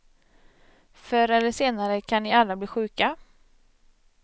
Förr eller senare kan ni alla bli sjuka.